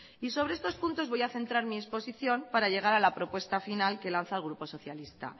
sobre estos puntos voy a centrar mi exposición para llegar a mi propuesta final que lanza el grupo socialista